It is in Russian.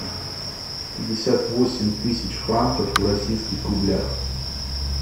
пятьдесят восемь тысяч франков в российских рублях